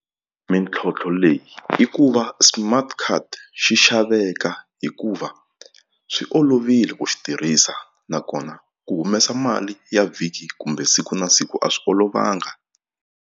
Mintlhontlho leyi i ku va smart card xi xaveka hikuva swi olovile ku xi tirhisa nakona ku humesa mali ya vhiki kumbe siku na siku a swi olovanga.